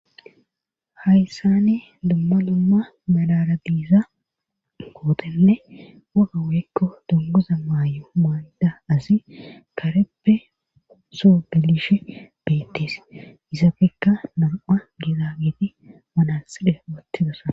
Hayssani dumma lumma malara diiza kootenne waga weykko dunguza maay7o maanda asi kareppe soo galishe beettees isafekka nam7a giida geeti manaside wathidosa.